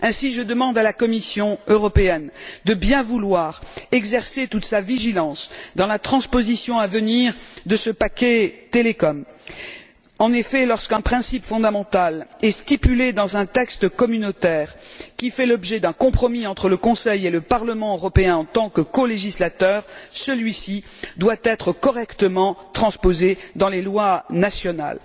Ainsi, je demande à la Commission européenne de bien vouloir exercer toute sa vigilance dans la transposition à venir de ce paquet télécom. En effet, lorsqu'un principe fondamental est inscrit dans un texte communautaire qui fait l'objet d'un compromis entre le Conseil et le Parlement européen en tant que colégislateurs, celui ci doit être correctement transposé dans les lois nationales.